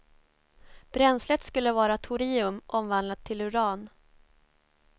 Bränslet skulle vara torium omvandlat till uran.